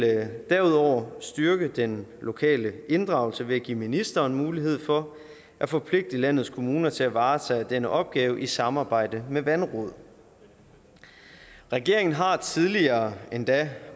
derudover styrke den lokale inddragelse ved at give ministeren mulighed for at forpligte landets kommuner til at varetage denne opgave i samarbejde med vandråd regeringen har tidligere endda